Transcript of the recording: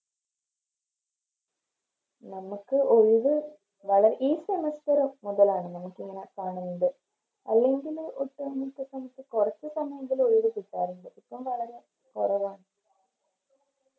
നമക്ക് ഒഴിവ് വള ഈ Semester മുതലാണ് നമുക്കിങ്ങനെ Permanent അല്ലെങ്കില് ഇപ്പോം നമുക്കിപ്പോം കൊറച്ച് സമയെങ്കിലും ഒഴിവ് കിട്ടാറുണ്ട് ഇപ്പൊ വളരെ കൊറവ